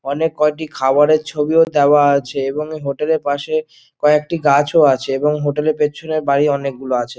আনকে কয়েকটি কয়েকটি খাবারের ছবিও দেয়া আছে এবং হোটেল - এর পাশে কয়েকটি গাছও আছে এবং হোটেল - এর পিছনে বাড়ি অনোক গুলো আছে ।